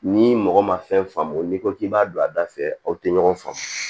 Ni mɔgɔ ma fɛn faamu n'i ko k'i b'a don a da fɛ aw tɛ ɲɔgɔn faamu